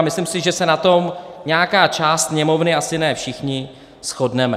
A myslím si, že se na tom nějaká část Sněmovny, asi ne všichni, shodneme.